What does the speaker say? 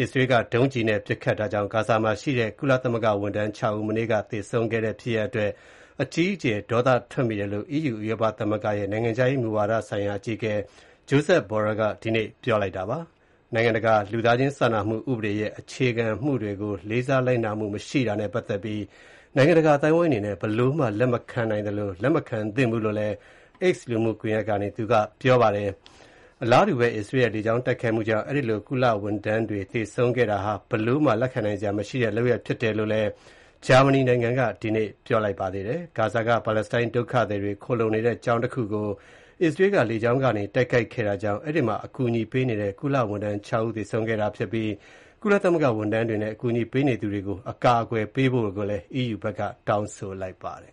အစ္စရေးက ဒုံးကျည်နဲ့ ပစ်ခတ်တာကြောင့် ဂါဇာမှာရှိတဲ့ ကုလသမဂ္ဂဝန်ထမ်း ၆ ဦး မနေ့က သေဆုံးခဲ့တဲ့ ဖြစ်ရပ်အတွက် အကြီးအကျယ် ဒေါသထွက်မိတယ်လို့ EU ဥရောပသမဂ္ဂရဲ့ နိုင်ငံခြားရေးမူဝါဒဆိုင်ရာ အကြီးအကဲ Joseph Borell ဒီနေ့ ပြောကြားလိုက်ပါတယ်။ နိုင်ငံတကာလူသားချင်းစာနာမှုဥပဒေရဲ့ အခြေခံမူတွေကို လေးစားလိုက်နာမှုမရှိတာနဲ့ ပတ်သက်ပြီး နိုင်ငံတကာအသိုင်းအဝိုင်းအနေနဲ့ ဘယ်လိုမှ လက်မခံနိုင်သလို လက်မခံသင့်ဘူးလို့လည်း X လူမှုကွန်ရက်ကနေ ပြောထားပါတယ်။ အလားတူဘဲ အစ္စရေးရဲ့ လေကြောင်းတိုက်ခိုက်မှုကြောင့် အဲဒီလို ကုလသမဂ္ဂဝန်ထမ်တွေ သေဆုံးခဲ့တာဟာ ဘယ်လိုမှ လက်ခံနိုင်စရာမရှိတဲ့ လုပ်ရပ်ဖြစ်တယ်လို့ ဂျာမနီနိုင်ငံက ဒီနေ့ ပြောလိုက်ပါတယ်။ ဂါဇာက ပါလက်စတိုင်း ဒုက္ခသည်တွေ ခိုလှုံနေတဲ့ ကျောင်းတခုကို အစ္စရေးက လေကြောင်းကနေ တိုက်ခိုက်ခဲ့တာကြောင့် အဲဒီမှာအကူအညီပေးနေတဲ့ ကုလသမဂ္ဂဝန်ထမ်း ၆ ဦးသေဆုံးခဲ့တာဖြစ်ပြီး ကုလသမဂ္ဂဝန်ထမ်းတွေနဲ့ အကူအညီပေးနေသူတွေကို အကာအကွယ်ပေးဖို့ကိုလည်း တောင်းဆိုလိုက်ပါတယ်